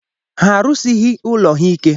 Ha erusighi ụlọ ha ike